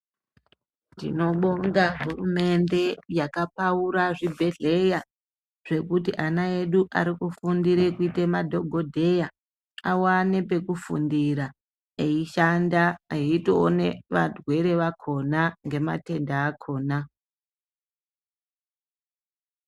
Tinobonga hurumende yakapaura zvibhehleya zvekuti ana edu arikufundire kuite madhokodheya awane pekufundira eishanda eitoone varwere vakhona ngematenda akhona.